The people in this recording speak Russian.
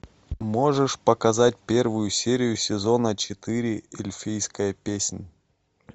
можешь показать первую серию сезона четыре эльфийская песнь